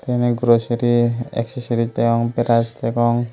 te eyan glossary excessory degong brass degong.